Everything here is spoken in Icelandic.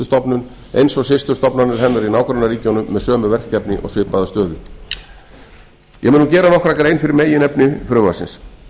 eins og systurstofnanir hennar í nágrannaríkjunum með sömu verkefni og svipaða stöðu ég mun nú gera nokkra grein fyrir meginefni frumvarpsins